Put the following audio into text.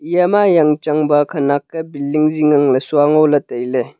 eya ma jang chang ba khanak ke billing jing ngang le sua ngo le taile.